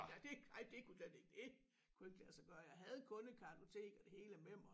Nej det ej det kunne slet ikke det kunne ikke lade sig gøre jeg havde kundekartotek og det hele med mig